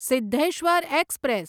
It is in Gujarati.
સિદ્ધેશ્વર એક્સપ્રેસ